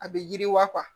A bɛ yiriwa